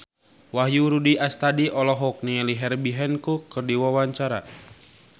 Wahyu Rudi Astadi olohok ningali Herbie Hancock keur diwawancara